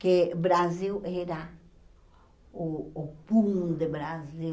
que Brasil era o o fundo de Brasil.